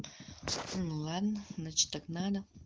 ну ладно значит так надо